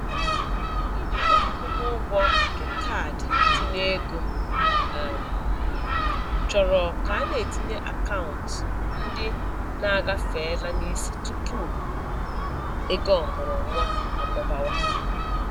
Ijikwa akwụmụgwọ nke kaadị ntinyeego um chọrọ ka a na-etinye akaụntụ ndị na-agafeela n'isi tupu ego ọmụrụnwa amụbawa.